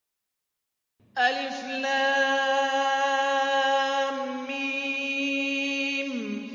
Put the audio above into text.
الم